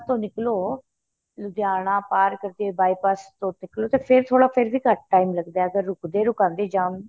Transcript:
ਨਿੱਕ੍ਲੋ ਲੁਧਿਆਣਾ ਪਰ ਕਰਕੇ by pass ਤੋ ਨਿੱਕਲੋ ਤੇ ਫ਼ੇਰ ਵੀ ਥੋੜਾ ਘੱਟ time ਲੱਗਦਾ ਅਗਰ ਰੁਕਦੇ ਰਕਾਂਦੇ